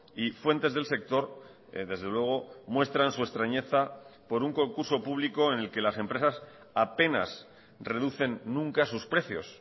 y fuentes del sector desde luego muestran su extrañeza por un concurso público en el que las empresas apenas reducen nunca sus precios